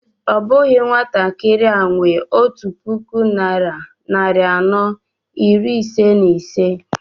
Ọ bụghị nwatakịrị a nwe ọtu puku naira narị anọ iri ise na ise